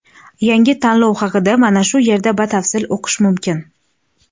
Yangi tanlov haqida mana shu yerda batafsil o‘qish mumkin.